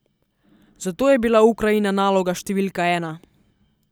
Zato je bila Ukrajina naloga številka ena.